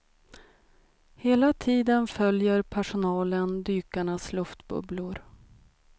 Hela tiden följer personalen dykarnas luftbubblor.